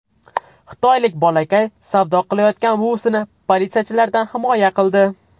Xitoylik bolakay savdo qilayotgan buvisini politsiyachilardan himoya qildi .